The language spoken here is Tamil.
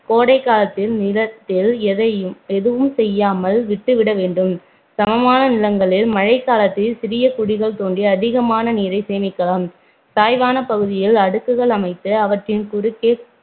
கோடை காலத்தில் நிலத்தில் எதையும் எதுவும் செய்யால் விட்டுவிட வேண்டும் சமமான நிலங்களில் மழைக்காலத்தில சிறிய குழிகள் தோண்டி அதிகமான நீரை சேமிக்கலாம் சாய்வான பகுதிகளில் அடுக்குகள் அமைத்து அவற்றின் குருக்கே